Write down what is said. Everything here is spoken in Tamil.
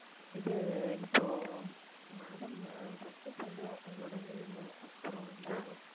இது இப்போ madam ஆஹ் first வந்து உங்களோட name அப்புறம் வந்து